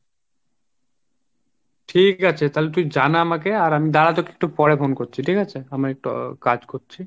ঠিক আছে তালে তুই জানা আমাকে আর আমি দাড়া তোকে আমি একটু পরে phone করছি ঠিক আছে আমি একটু কাজ করছি।